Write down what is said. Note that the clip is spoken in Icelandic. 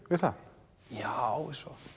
við það já